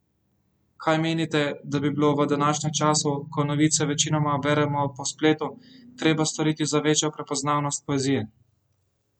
Kaj menite, da bi bilo v današnjem času, ko novice večinoma beremo po spletu, treba storiti za večjo prepoznavnost poezije?